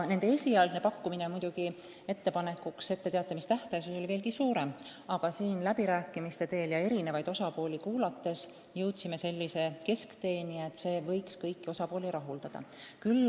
Esialgu pakkusid nad veelgi pikemat etteteatamise tähtaega, aga eri osapooli kuulates jõudsime läbi rääkides keskteeni, mis võiks kõiki huvilisi rahuldada.